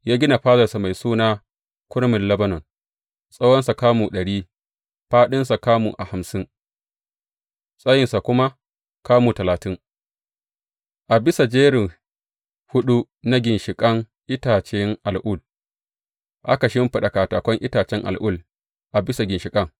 Ya gina fadarsa mai suna Kurmin Lebanon, tsawonsa kamu ɗari, fāɗinsa kamu hamsin, tsayinsa kuma kamu talatin, a bisa jeri huɗu na ginshiƙan itacen al’ul, aka shimfiɗa katakan itacen al’ul a bisa ginshiƙan.